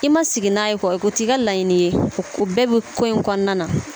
I ma sigi n'a ye kuwa o t'i ka laɲini ye o bɛɛ bi ko in kɔnɔna na